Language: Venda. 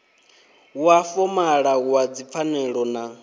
wa fomala wa dzipfanelo na